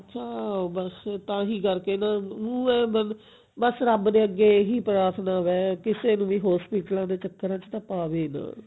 ਚਾਰੋ ਪਾਸੇ ਤਾਹੀਂ ਕਰਕੇ ਨਾ ਮੈਂ ਬਸ ਰੱਬ ਦੇ ਅੱਗੇ ਇਹੀ ਪ੍ਰਾਥਨਾ ਵੈ ਕਿਸੇ ਨੂੰ ਵੀ hospital ਆਂ ਦੇ ਚੱਕਰਾ ਚ ਪਾਵੇ ਨਾ